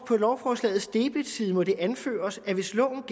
på lovforslagets debetside måtte anføres at hvis loven